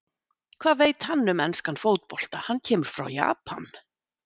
Hvað veit hann um enskan fótbolta, hann kemur frá Japan?